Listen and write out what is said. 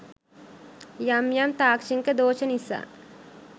යම් යම් තාක්ෂණික දෝෂ නිසා